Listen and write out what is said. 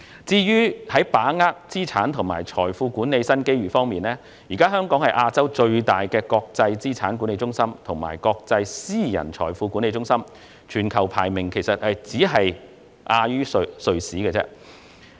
在把握資產及財富管理新機遇方面，香港現時是亞洲最大的國際資產管理中心及國際私人財富管理中心，全球排名僅次於瑞士。